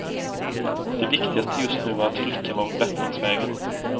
Det viktigaste just nu var att flickan var på bättringsvägen.